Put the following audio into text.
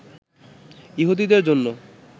ইহুদীদের জন্যে